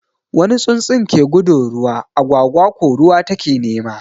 Wani tsutsun ke gudun ruwa, agwagwa ko ruwa ta ke nema.